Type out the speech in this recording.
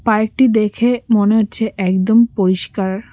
Park -টি দেখে মনে হচ্ছে একদম পরিষ্কার।